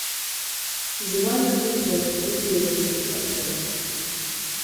зима мертвецов метелица поставь